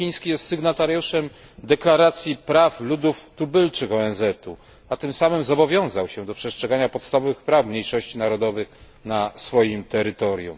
Rząd chiński jest sygnatariuszem Deklaracji praw ludów tubylczych ONZ. Tym samym zobowiązał się do przestrzegania podstawowych praw mniejszości narodowych na swoim terytorium.